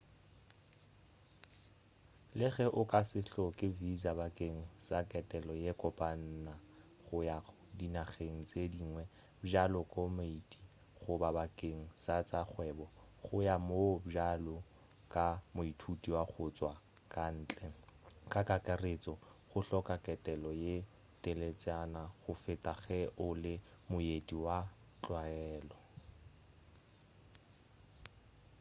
le ge o ka se hloke visa bakeng sa ketelo ye kopana go ya dinageng tše dingwe bjalo ko moeti goba bakeng sa tša kgwebo go ya moo bjalo ka moithuti wa go tšwa kantle ka kakaretšo go hloka ketelo ye teletšana go feta ge o le moeti wa go tlwalega